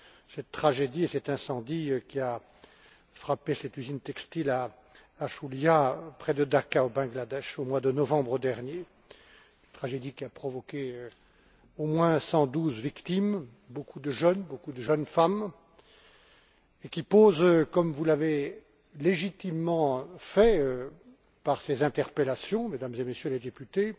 cette tragédie, cet incendie qui a frappé cette usine textile à Shulia, près de Dacca, au Bangladesh, au mois de novembre dernier, tragédie qui a provoqué au moins 112 victimes, dont beaucoup de jeunes, beaucoup de jeunes femmes, et qui pose, comme vous l'avez légitimement fait, par vos interpellations, Mesdames et Messieurs les députés,